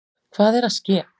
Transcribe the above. Hvað er að ske!